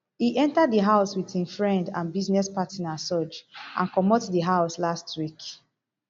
e enta di house wit im friend and business partner sooj and comot di house last week